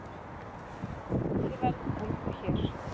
Dregur enn úr verðbólgu hér